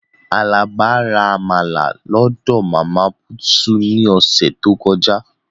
Alaba ra Amala lọdọ Mama Puutu ni ose to koja.